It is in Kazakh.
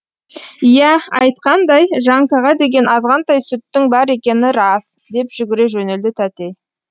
иә айтқандай жанкаға деген азғантай сүттің бар екені рас деп жүгіре жөнелді тәтей